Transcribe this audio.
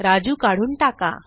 राजू काढून टाका